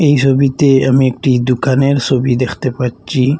এই ছবিতে আমি একটি দোকানের ছবি দেখতে পাচ্ছি।